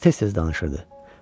Qız tez-tez danışırdı.